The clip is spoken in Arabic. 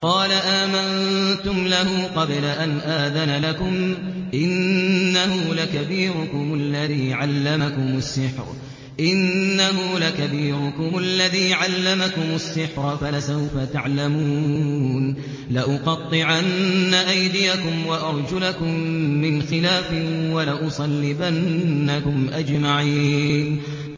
قَالَ آمَنتُمْ لَهُ قَبْلَ أَنْ آذَنَ لَكُمْ ۖ إِنَّهُ لَكَبِيرُكُمُ الَّذِي عَلَّمَكُمُ السِّحْرَ فَلَسَوْفَ تَعْلَمُونَ ۚ لَأُقَطِّعَنَّ أَيْدِيَكُمْ وَأَرْجُلَكُم مِّنْ خِلَافٍ وَلَأُصَلِّبَنَّكُمْ أَجْمَعِينَ